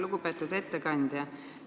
Lugupeetud ettekandja!